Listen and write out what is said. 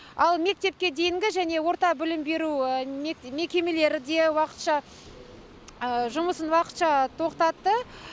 ал мектепке дейінгі және орта білім беру мекемелері де жұмысын уақытша тоқтатты